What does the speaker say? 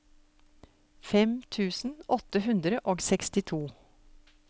fem tusen åtte hundre og sekstito